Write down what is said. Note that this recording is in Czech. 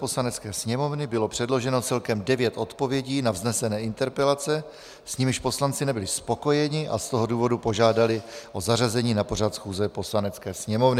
Poslanecké sněmovny bylo předloženo celkem devět odpovědí na vznesené interpelace, s nimiž poslanci nebyli spokojeni, a z toho důvodu požádali o zařazení na pořad schůze Poslanecké sněmovny.